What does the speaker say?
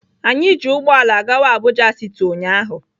Anyị ji ụgbọala gawa Abuja city ụnyahụ.